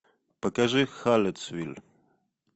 покажи халлеттсвиль